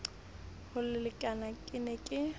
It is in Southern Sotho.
ho lekane ke ne ke